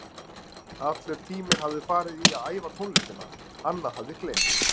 Allur tíminn hafði farið í að æfa tónlistina, annað hafði gleymst.